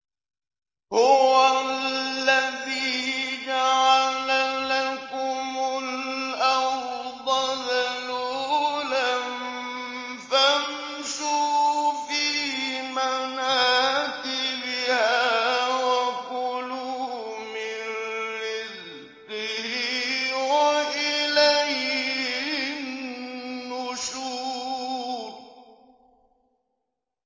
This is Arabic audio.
هُوَ الَّذِي جَعَلَ لَكُمُ الْأَرْضَ ذَلُولًا فَامْشُوا فِي مَنَاكِبِهَا وَكُلُوا مِن رِّزْقِهِ ۖ وَإِلَيْهِ النُّشُورُ